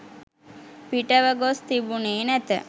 පිටව ගොස් තිබුණේ නැත.